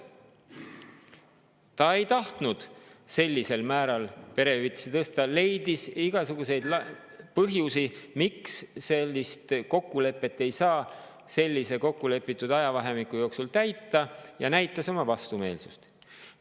Ta ei tahtnud perehüvitisi sellisel määral tõsta, leidis igasuguseid põhjusi, miks seda kokkulepet ei saa kokkulepitud ajavahemiku jooksul täita, ja näitas oma vastumeelsust.